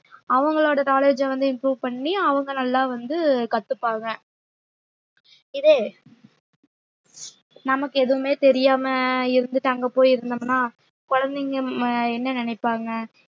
அவங்களோட knowledge வந்து improve பண்ணி அவங்க நல்லா வந்து கத்துப்பாங்க இதே நமக்கு எதுவுமே தெரியாம இருந்துட்டு அங்க போயிருந்தோம்னா குழந்தைங்க ம~ என்ன நினைப்பாங்க